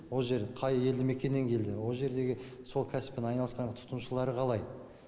ол жер қай елді мекеннен келдің ол жердегі сол кәсіппен айналысқан тұтынушылары қалай